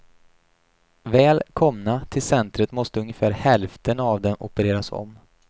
Väl komna till centret måste ungefär hälften av dem opereras om.